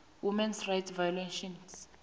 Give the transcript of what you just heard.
human rights violations